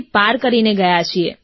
અને સાહેબ ઘરેઘરે ગયા છીએ